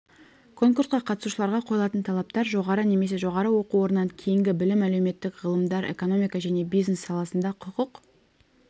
конкурсқа қатысушыларға қойылатын талаптар жоғары немесе жоғары оқу орнынан кейінгі білім әлеуметтік ғылымдар экономика және бизнес саласында құқық